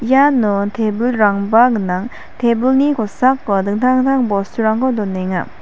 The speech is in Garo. iano tebilrangba gnang tebilni kosako dingtang dingtang bosturangko donenga.